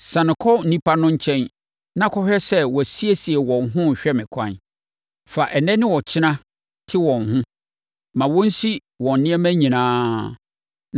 “Siane kɔ nnipa no nkyɛn na kɔhwɛ sɛ wɔasiesie wɔn ho rehwɛ me ɛkwan. Fa ɛnnɛ ne ɔkyena te wɔn ho. Ma wɔnsi wɔn nneɛma nyinaa.